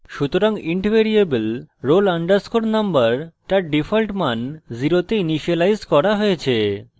সুতরাং int variable roll _ number তার default মান শূন্যতে ইনিসিয়েলাইজ করা হয়েছে